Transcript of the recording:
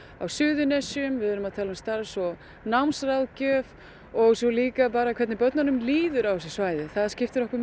Suðurnesjum við erum að tala um starfs og námsráðgjöf og líka hvernig börnunum líður á þessu svæði það skiptir okkur